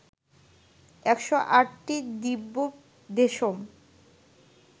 ১০৮টি Divya Deschamps